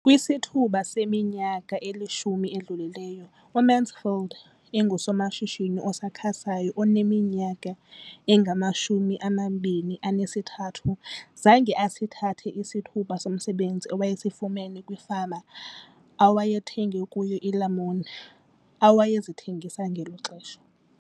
Kwisithuba seminyaka elishumi edlulileyo, uMansfield engusomashishini osakhasayo oneminyaka engama-23 ubudala, zange asithathe isithuba somsebenzi awayesifumana kwifama awayethenga kuyo iilamuni awayezithengisa ngelo xesha.